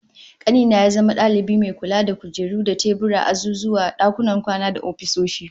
Kani na ya zama dalibi mai kula da kujeru da teburan azuzuwa, dakunan kwana da ofisoshi